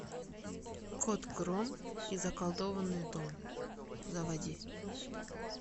кот гром и заколдованный дом заводи